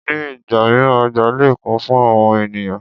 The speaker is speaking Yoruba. Ní ìgbà mìíràn oja lè kún fún àwọn ènìyàn.